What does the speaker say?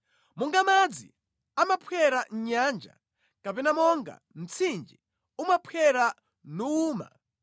Monga madzi amaphwera mʼnyanja kapena monga mtsinje umaphwera nuwuma,